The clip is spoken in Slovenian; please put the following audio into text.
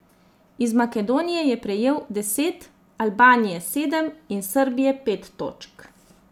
Iz Makedonije je prejel deset, Albanije sedem in Srbije pet točk.